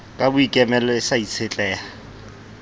ka boikemelo e sa itshetleha